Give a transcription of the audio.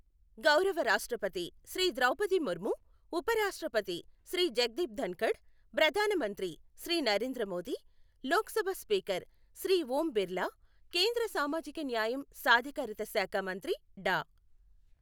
గౌరవ రాష్ట్రపతి శ్రీ ద్రౌపది ముర్ము, ఉప రాష్ట్రపతి శ్రీ జగదీప్ ధన్ఖడ్, ప్రధాన మంత్రి శ్రీ నరేంద్ర మోదీ, లోక్సభ స్పీకర్ శ్రీ ఓం బిర్లా, కేంద్ర సామాజిక న్యాయం సాధికారత శాఖ మంత్రి డా.